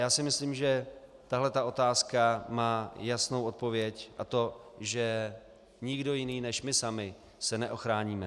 Já si myslím, že tahle otázka má jasnou odpověď, a to že nikdo jiný než my sami se neochráníme.